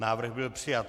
Návrh byl přijat.